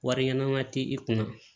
Wari ɲɛnama ti i kunna